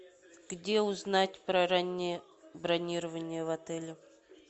где узнать про раннее бронирование в отеле